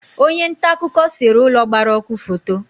Onye nta akụkọ sere ụlọ gbara ọkụ foto